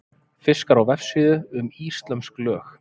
Fiskar á vefsíðu um íslömsk lög.